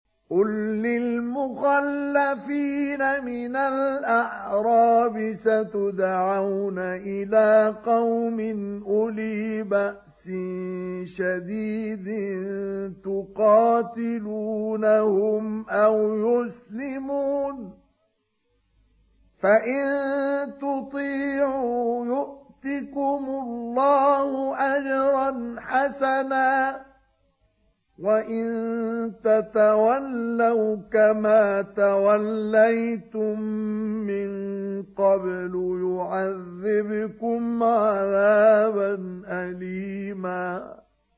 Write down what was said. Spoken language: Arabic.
قُل لِّلْمُخَلَّفِينَ مِنَ الْأَعْرَابِ سَتُدْعَوْنَ إِلَىٰ قَوْمٍ أُولِي بَأْسٍ شَدِيدٍ تُقَاتِلُونَهُمْ أَوْ يُسْلِمُونَ ۖ فَإِن تُطِيعُوا يُؤْتِكُمُ اللَّهُ أَجْرًا حَسَنًا ۖ وَإِن تَتَوَلَّوْا كَمَا تَوَلَّيْتُم مِّن قَبْلُ يُعَذِّبْكُمْ عَذَابًا أَلِيمًا